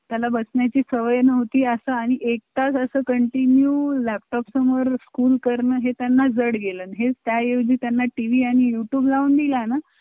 त्याला बसण्याची सवय नव्हती असा आणि एक तास असं continue laptop समोर school कर्ण हे त्यांना जड गेलं. हे style जे त्यांना TV आणि youtube लावून दिला ना